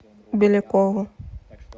белякову